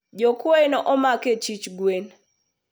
jokwoye nomak e sich gwen